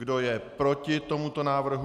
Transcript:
Kdo je proti tomuto návrhu?